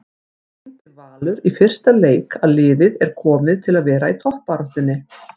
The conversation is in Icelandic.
Sýndi Valur í fyrsta leik að liðið er komið til að vera í toppbaráttu?